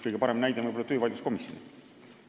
Kõige parem näide on võib-olla töövaidluskomisjonid.